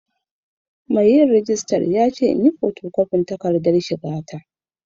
Mai rejista ya ce in yi hoto kwafin takardar shiga ta.